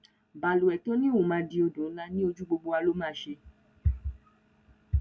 balùwẹ tó ní òun máa di odò ńlá ni o ojú gbogbo wa ló máa ṣe